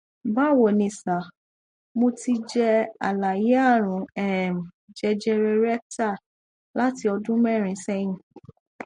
bawo ni sir mo ti jẹ alààyè àrùn um jẹjẹrẹ rectal láti ọdún mẹrin sẹyìn